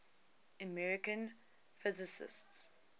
american physicists